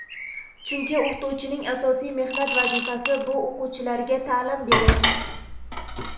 Chunki o‘qituvchining asosiy mehnat vazifasi bu o‘quvchilarga taʼlim berish.